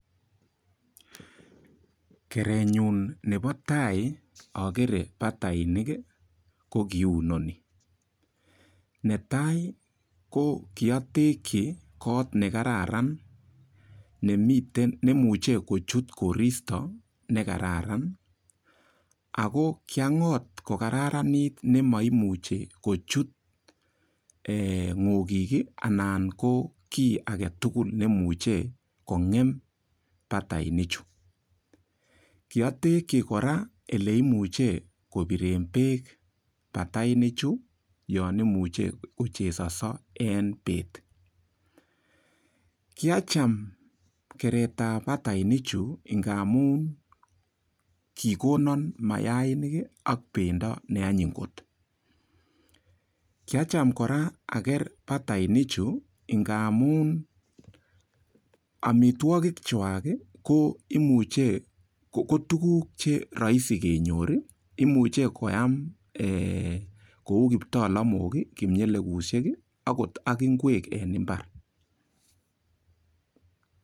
Kerenyun nebo tai akere batainik kokiunoni netai ko kiatekchi koot ne kararan neimuche kochut koristo nekararan ako kiangot ko kararanit nimaimuchei kochut ng'okik anan ko kiy age tugul nemuchei kongem batainik chu kiatekchi kora ole imuche kobiren beek batainik chu yon imuche kochesonso en beet kiacham keret ap batainik chu ngamun kokonon mayainik ak bendo neanyiny kot kiacham kora aker batainik chu ngamun amitwokik chwak ko imuchei ko tukuk che raisi kenyor imuchei koyam kou kiptalamwok kingeleposiek akot akingwek eng imbar.